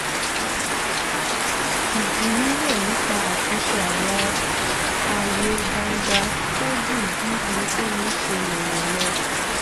ìjíròrò nípa àtúnṣe àwọn ààyè gbangba pẹ́ ju bí ẹnikẹni ṣe lérò lọ